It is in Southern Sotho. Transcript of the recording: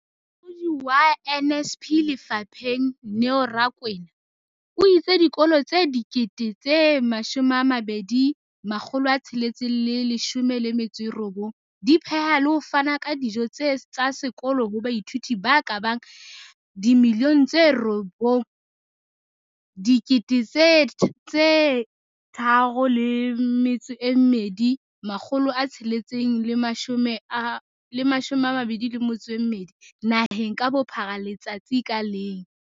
Molaodi wa NSNP lefapheng, Neo Rakwena, o itse dikolo tse 20 619 di pheha le ho fana ka dijo tsa sekolo ho baithuti ba ka bang 9 032 622 naheng ka bophara letsatsi ka leng.